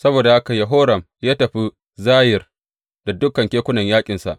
Saboda haka Yehoram ya tafi Zayir da dukan kekunan yaƙinsa.